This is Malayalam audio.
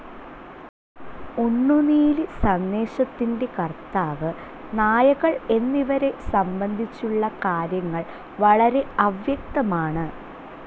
ഉണ്ണുനീലി സന്ദേശത്തിൻ്റെ കർത്താവ്, നായകൾ എന്നിവരെ സംബന്ധിച്ചുള്ള കാര്യങ്ങൾ വളരെ അവ്യക്തമാണ്.